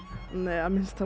nei